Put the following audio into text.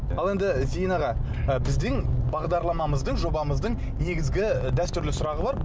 ал енді зейін аға ы біздің бағдарламамыздың жобамыздың негізгі дәстүрлі сұрағы бар